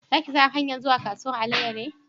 Za ki san hanyar zuwa kasuwan alayale?